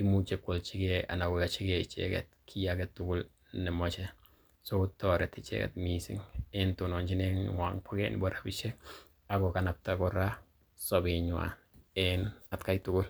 imuche koalchige anan koyochi ge icheget kiy age tugul nemoche. So kotoreti ichek mising en tononjinenywan bo gee nebo rabishek. Ak kokanapta kora sobenywan en atkai tugul.